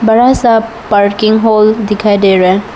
बड़ा सा parking hall दिखाई दे रहा--